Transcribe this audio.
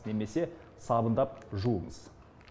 немесе сабындап жуыңыз